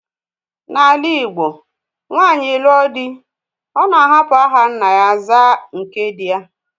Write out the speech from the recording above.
N'ala igbo nwanyị lụọ dị́, Ọ̀ na-ahapụ aha nna ya zaa nke dị ya.